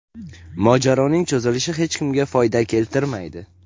Mojaroning cho‘zilishi hech kimga foyda keltirmaydi.